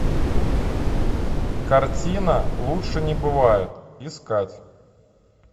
картина лучше не бывает искать